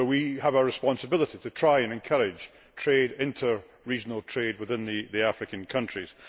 So we have a responsibility to try to encourage inter regional trade within the African countries.